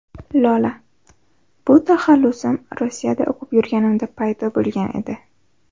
Lola: Bu taxallusim Rossiyada o‘qib yurganimda paydo bo‘lgan edi.